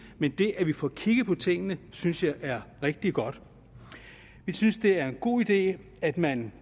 men det at vi får kigget på tingene synes jeg er rigtig godt jeg synes det er en god idé at man